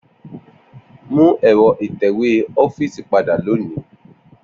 Mu ẹ̀rọ ìtẹ̀wé ọfiisi pada loni.